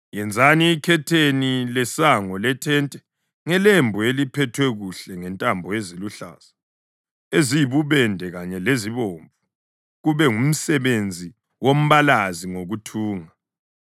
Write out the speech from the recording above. Yenzani ikhetheni lesango lethente ngelembu eliphethwe kuhle ngentambo eziluhlaza, eziyibubende kanye lezibomvu kube ngumsebenzi wombalazi ngokuthunga.